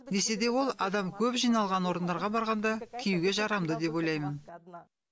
десе де ол адам көп жиналған орындарға барғанда киюге жарамды деп ойлаймын